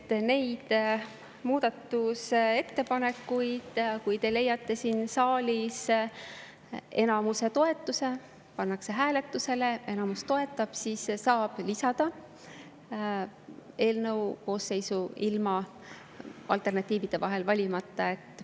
Kui need muudatusettepanekud leiavad siin saalis enamuse toetuse, kui need pannakse hääletusele ja enamus neid toetab, siis saab need lisada eelnõu koosseisu ilma alternatiivide vahel valimata.